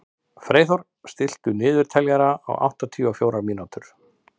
Freyþór, stilltu niðurteljara á áttatíu og fjórar mínútur.